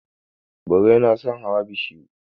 Birai na son hawa bishiyu.